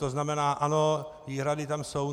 To znamená ano, výhrady tam jsou.